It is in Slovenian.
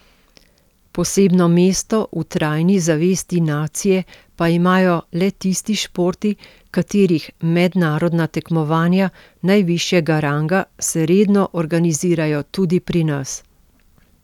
Posebno mesto v trajni zavesti nacije pa imajo le tisti športi, katerih mednarodna tekmovanja najvišjega ranga se redno organizirajo tudi pri nas.